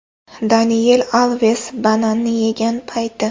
Daniel Alves bananni yegan payti.